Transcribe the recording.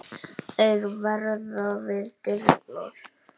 Þeir verða við dyrnar.